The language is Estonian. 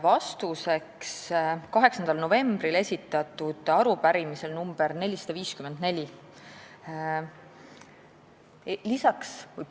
Vastan 8. novembril esitatud arupärimisele nr 454.